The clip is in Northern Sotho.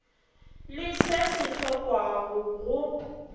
le se se hlokwago go